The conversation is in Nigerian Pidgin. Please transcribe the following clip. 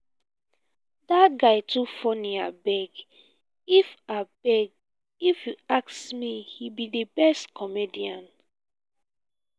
dat guy too funny abeg. if abeg. if you ask me he be the best comedian